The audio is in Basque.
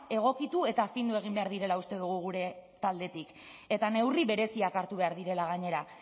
egokitu eta findu egin behar direla uste dugu gure taldetik eta neurri bereziak hartu behar direla gainera